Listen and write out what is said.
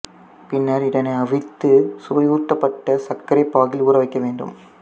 பின்னர் இதனை அவித்துச் சுவையூட்டப்பட்ட சர்க்கரை பாகில் ஊறவைக்க வேண்டும்